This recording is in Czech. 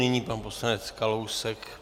Nyní pan poslanec Kalousek.